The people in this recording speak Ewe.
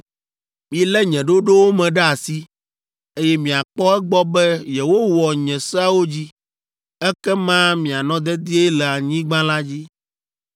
“ ‘Milé nye ɖoɖowo me ɖe asi, eye miakpɔ egbɔ be yewowɔ nye seawo dzi, ekema mianɔ dedie le anyigba la dzi.